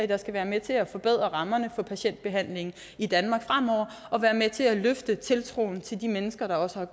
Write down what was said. der skal være med til at forbedre rammerne for patientbehandlingen i danmark fremover og være med til at løfte tiltroen til de mennesker der også har